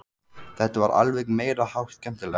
Þetta var alveg meiri háttar skemmtilegt!